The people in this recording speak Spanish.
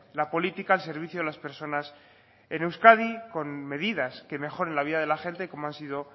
la política al servicio de las personas en euskadi con medidas que mejoren la vida de la gente como han sido